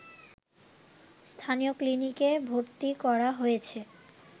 স্থানীয় ক্লিনিকে ভর্তি করা হয়েছে